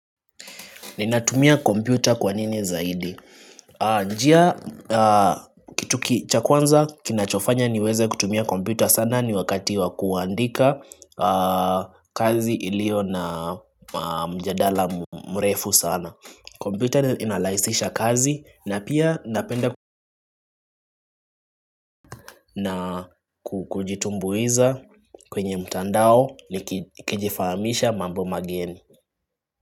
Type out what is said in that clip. Ninatumia kompyuta kwa nini zaidi? Njia kitu ki cha kwanza kinachofanya niweze kutumia kompyuta sana ni wakati wa kuandika kazi ilio na mjadala mrefu sana kompyuta inalaisisha kazi na pia napenda kujitumbuiza kwenye mtandao ni kijifahamisha mambo mageni.